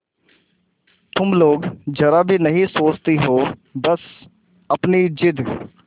तुम लोग जरा भी नहीं सोचती हो बस अपनी जिद